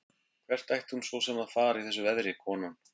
Hvert ætti hún svo sem að fara í þessu veðri, konan?